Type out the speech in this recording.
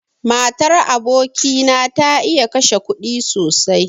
Matar aboki na ta iya kashe kuɗi sosai.